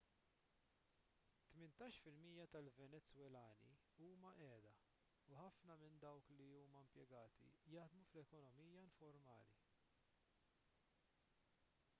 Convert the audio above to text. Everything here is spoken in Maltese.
tmintax fil-mija tal-venezwelani huma qiegħda u ħafna minn dawk li huma impjegati jaħdmu fl-ekonomija informali